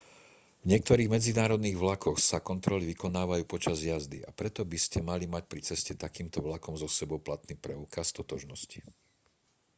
v niektorých medzinárodných vlakoch sa kontroly vykonávajú počas jazdy a preto by ste mali mať pri ceste takýmto vlakom so sebou platný preukaz totožnosti